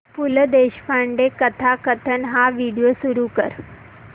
पु ल देशपांडे कथाकथन हा व्हिडिओ सुरू कर